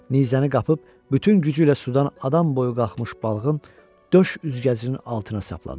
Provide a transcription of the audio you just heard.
Nizəni qapıb bütün gücü ilə sudan adam boyu qalxmış balığın döş üzgəcinin altına sapladı.